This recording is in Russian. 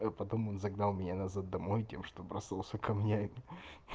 потом он загнал меня назад домой тем что бросался камнями